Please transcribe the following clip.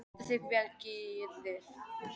Þú stendur þig vel, Gyrðir!